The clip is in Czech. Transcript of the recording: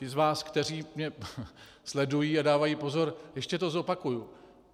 Ti z vás, kteří mě sledují a dávají pozor, ještě to zopakuju.